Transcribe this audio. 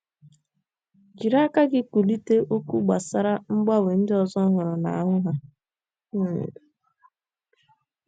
Jiri aka gị kwulite okwu gbasara mgbanwe ndị ọzọ hụrụ n’ahụ́ ha um.